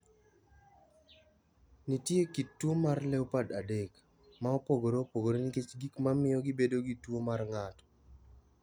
Nitie kit tuwo mar LEOPARD adek, ma opogore opogore nikech gik ma miyo gibedo gi tuwo mar ng’ato.